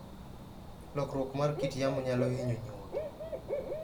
Lokruok mar kit yamo nyalo hinyo nyuogi.